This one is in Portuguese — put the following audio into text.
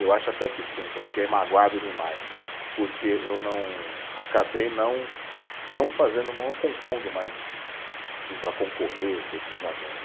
Eu acho até que sim, que eu fiquei magoado demais, porque eu não, acabei não, não fazendo, não compondo mais assim para concorrer efetivamente.